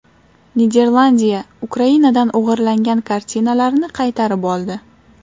Niderlandiya Ukrainadan o‘g‘irlangan kartinalarni qaytarib oldi.